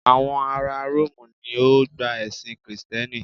àwọn ará rómù ni o gba ẹsìn Kristẹni